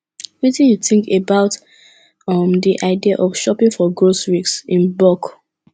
wetin you think about um di idea of shopping for groceries in bulk